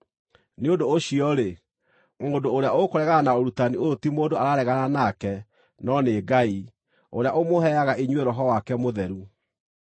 Nĩ ũndũ ũcio-rĩ, mũndũ ũrĩa ũkũregana na ũrutani ũyũ ti mũndũ araregana nake no nĩ Ngai, ũrĩa ũmũheaga inyuĩ Roho wake Mũtheru.